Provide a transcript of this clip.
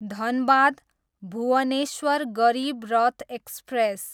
Dhanbad, Bhubaneswar Garib Rath express